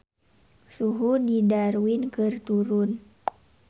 Suhu di Darwin keur turun